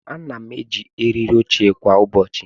Ana m eji eriri oche kwa ụbọchị.